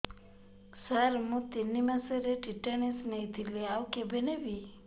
ସାର ମୁ ତିନି ମାସରେ ଟିଟାନସ ନେଇଥିଲି ଆଉ କେବେ ନେବି